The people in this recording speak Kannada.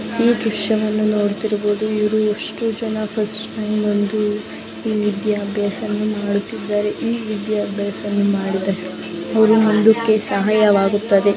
ಈ ದೃಶ್ಯ ದಲ್ಲಿ ನೋಡ್ತಿರುವುದು ಇವ್ರು ಎಷ್ಟು ಜನ ಫಸ್ಟ್ ರಾಂಕ್ ಬಂದು ಈ ವಿದ್ಯಾ ಅಭ್ಯಾಸ ಮಾಡುತಿದ್ದಾರೆ. ಈ ವಿದ್ಯಾ ಅಭ್ಯಾಸವನ್ನು ಮಾಡಿದರೆ ಒರು ಮುಂದುಕ್ಕೆ ಸಹಾಯವಾಗುತ್ತದೆ.